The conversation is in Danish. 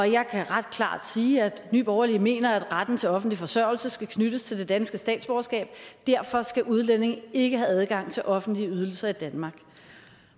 jeg kan ret klart sige at nye borgerlige mener at retten til offentlig forsørgelse skal knyttes til det danske statsborgerskab derfor skal udlændinge ikke have adgang til offentlige ydelser i danmark